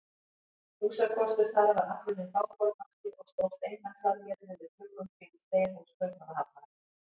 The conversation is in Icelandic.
Húsakostur þar var allur hinn bágbornasti og stóðst engan samjöfnuð við gluggum prýdd steinhús Kaupmannahafnar.